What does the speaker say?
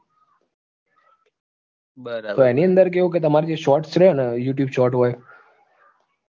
બરાબર એની અંદર કેવું કે તમારે જે shorts રહ્યો ને, youtube shorts હોય